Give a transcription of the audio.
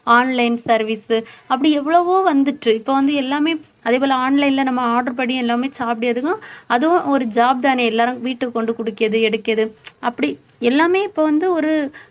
online service உ அப்படி எவ்வளவோ வந்துட்டு இப்ப வந்து எல்லாமே அதே போல online ல நம்ம order படி எல்லாமே சாப்பிட அதுவும் ஒரு ஒரு job தானே எல்லாரும் வீட்டுக்கு கொண்டு குடுக்கிறது எடுக்கிறது அப்படி எல்லாமே இப்ப வந்து ஒரு